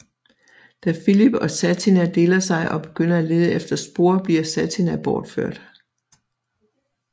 Da Filip og Satina deler sig og begynder at lede efter spor bliver Satina bortført